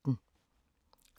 DR P2